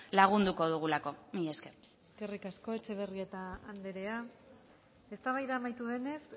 lagunduko dugulako mila esker eskerrik asko etxebarrieta andrea eztabaida amaitu denez